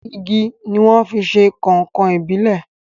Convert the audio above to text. Igi ni wọ́n fi ṣe Kọ̀nkọ̀ ìbílè